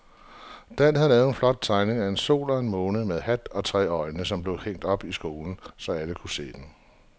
Dan havde lavet en flot tegning af en sol og en måne med hat og tre øjne, som blev hængt op i skolen, så alle kunne se den.